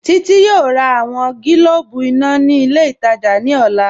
Títí yọọ̀ rà awọn gílòbù iná ni ilẹ̀ itajà ni ọlá